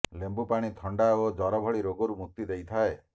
ଲେମ୍ୱୁ ପାଣି ଥଣ୍ଡା ଓ ଜର ଭଳି ରୋଗରୁ ମୁକ୍ତି ଦେଇଥାଏ